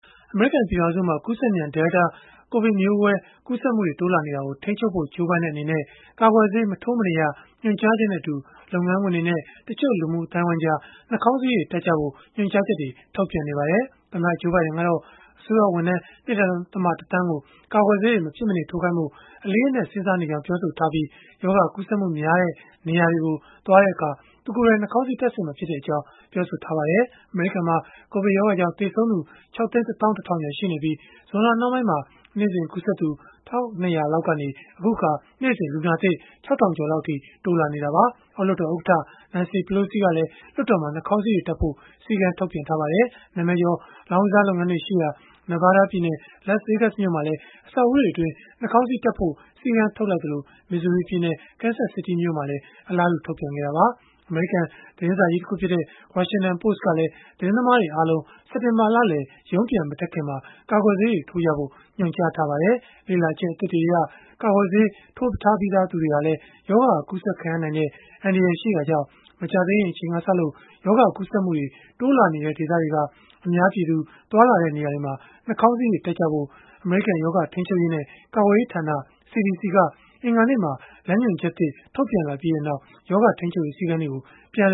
အမေရိကန် ပြည်ထောင်စုမှာ ကူးစက်မြန် Delta ကိုဗစ်မျိုးကွဲ ကူးစက်မှုတွေ တိုးလာနေတာကို ထိန်းချုပ်ဖို့ ကြိုးပမ်းတဲ့ အနေနဲ့ ကာကွယ်ဆေး မထိုးမနေရ ညွှန်ကြားချက်နဲ့အတူ လုပ်ငန်းခွင်တွေနဲ့ တချို့လူမှုအသိုင်းအဝန်းကြား နှာခေါင်းစည်းတွေ တပ်ကြဖို့ ညွှန်ကြားချက်တွေ ထုတ်ပြန်နေပါတယ်။ သမ္မတ Joe Biden ကတော့ အစိုးရဝန်ထမ်း ၂.၁ သန်းကို ကာကွယ်ဆေး မဖြစ်မနေထိုးခိုင်းဖို့ အလေးအနက် စဉ်းစားနေကြောင်း ပြောဆိုထားပြီး၊ ရောဂါကူးစက်မှု များတဲ့ နေရာတွေကို သွားတဲ့အခါ သူကိုယ်တိုင် နှာခေါင်းစည်း တပ်ဆင်မှာဖြစ်ကြောင်းလည်း ပြောပါတယ်။ အမေရိကန်မှာ ကိုဗစ်ရောဂါကြောင့် သေဆုံးသူ ၆ သိန်း ၁ သောင်း ၁ ထောင်ကျော် ရှိနေပြီး၊ ဇွန်လနှောင်းပိုင်းမှာ နေ့စဉ်ကူးစက်သူ ၁၂၀၀၀ လောက်ကနေ အခုအခါ နေ့စဉ် လူနာသစ် ၆ ထောင်ကျော်လောက်အထိ တိုးလာနေတာပါ။ အောက်လွှတ်တော်ဥက္ကဋ္ဌ Nancy Pelosi ကလည်း လွှတ်တော်မှာ နှာခေါင်းစည်းတွေ တပ်ကြဖို့ စည်းကမ်းပြန်ထုတ်ထားပါတယ်။ နာမည်ကျော် လောင်းကစား လုပ်ငန်းတွေရှိရာ Nevada ပြည်နယ် Las Vegas မြို့မှာလည်း အဆောက်အဦးတွေအတွင်း နှာခေါင်းစည်းတပ်ဖို့ စည်းကမ်း ထုတ်လိုက်သလို၊ Missouri ပြည်နယ်၊ Kansas City မြို့မှာလည်း အလားတူ ထုတ်ပြန်ခဲ့တာပါ။ အမေရိကန် သတင်စာကြီးတခုဖြစ်တဲ့ Washington Post ကလည်း သတင်းသမားတွေအားလုံး စက်တင်ဘာလလယ် ရုံးပြန်မတက်ခင်မှာ ကာကွယ်ဆေးတွေ ထိုးထားကြဖို့ ညွှန်ကြားထားပါတယ်။ လေ့လာချက် အသစ်တွေအရ ကာကွယ်ဆေး ထိုးထားပြီးသူတွေဟာလည်း ရောဂါကူးစက်ခံရနိုင်တဲ့ အန္တရာယ်ရှိတာကြောင့်၊ မကြာသေးခင်ကစလို့ ရောဂါကူးစက်မှုတွေ တိုးလာနေတဲ့ ဒေသတွေက အများပြည်သူသွားလာရာ နေရာတွေမှာ နှာခေါင်းစည်းတွေ တပ်ကြဖို့ အမေရိကန် ရောဂါ ထိန်းချုပ်ရေးနဲ့ ကာကွယ်ရေးဌာန CDC က အင်္ဂါနေ့မှာ လမ်းညွှန်ချက်သစ် ထုတ်ပြန်လိုက်ပြီးနောက် ရောဂါထိန်းချုပ်ရေး စည်းကမ်းတွေကို ပြန်လ